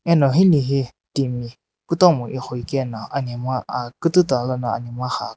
ano hilae he timi kutomo eghoehi kae na anamgha kututa lono anemgha gha akhane --